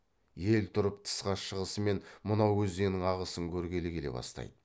ел тұрып тысқа шығысымен мынау өзеннің ағысын көргелі келе бастайды